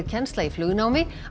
kennsla í flugnámi